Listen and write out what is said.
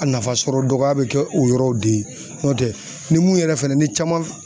A nafa sɔrɔ dɔgɔya bɛ kɛ o yɔrɔw de ye n'o tɛ ni mun yɛrɛ fɛnɛ ni caman